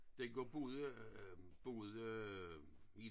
Dengang boede boede vi